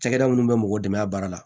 Cakɛda minnu bɛ mɔgɔw dɛmɛ a baara la